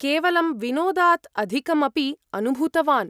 केवलं विनोदात् अधिकम् अपि अनुभूतवान्!